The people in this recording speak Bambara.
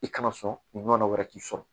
I kana sɔn ɲɔ wɛrɛ k'i sɔrɔ